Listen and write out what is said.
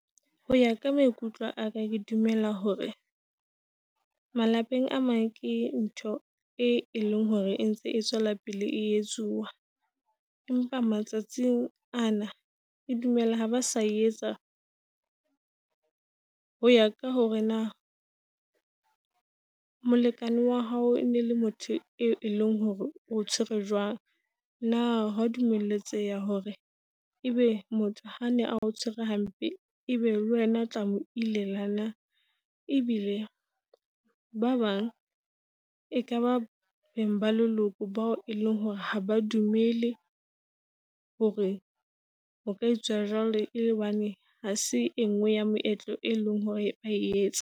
Ho ya ka maikutlo aka ke dumela hore malapeng a mang ke ntho e leng hore e ntse e tswela pele e etsuwa. Empa matsatsing ana ke dumela ha ba sa etsa ho ya ka hore na , molekane wa hao e ne le motho e leng hore o tshwere jwang. Na hwa dumeletseha hore ebe motho ha ne a ntshwere hampe ebe le wena o tla mo ilela na. Ebile ba bang e ka ba beng ba leloko bao e leng hore ha ba dumele hore o ka etsa jwang, ele hobane ha se e nngwe ya moetlo e leng hore ba etsa.